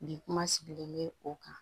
Bi kuma sigilen bɛ o kan